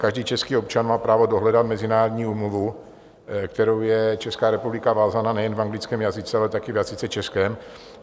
Každý český občan má právo dohledat mezinárodní úmluvu, kterou je Česká republika vázána, nejen v anglickém jazyce, ale také v jazyce českém.